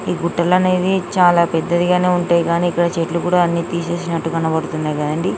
నీ గుట్టలనేవి చాలా పెద్దదిగానే ఉంటాయి కానీ ఇక్కడ చెట్లు కూడా అన్ని తీసేసినట్టు కనపడున్నాయ్ కదండీ.